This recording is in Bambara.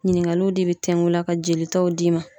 Ɲiniŋaliw de bi tɛŋun i la ka jelitaw d'i ma